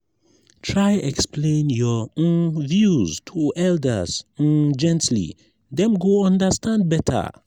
try explain your um views to elders um gently; dem go understand better.